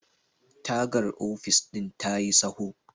tagar ofis ɗin ta yi tsaho